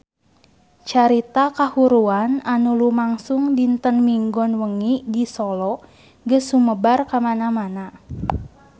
Carita kahuruan anu lumangsung dinten Minggon wengi di Solo geus sumebar kamana-mana